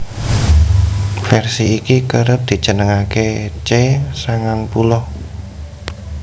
Vèrsi iki kerep dijenengaké C sangang puluh